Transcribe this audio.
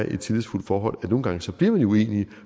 i et tillidsfuldt forhold nogle gange bliver man uenige